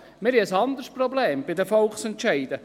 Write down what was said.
Bei den Volksentscheiden haben wir ein anderes Problem.